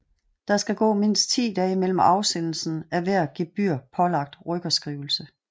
Der skal gå mindst 10 dage mellem afsendelsen af hver gebyrpålagt rykkerskrivelse